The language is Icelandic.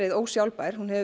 ósjálfbær hún hefur